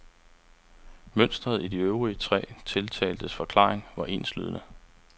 Mønsteret i de øvrige tre tiltaltes forklaringer var enslydende.